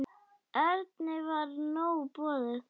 Erni var nóg boðið.